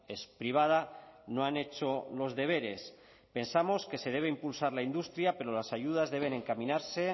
es privada no han hecho los deberes pensamos que se debe impulsar la industria pero las ayudas deben encaminarse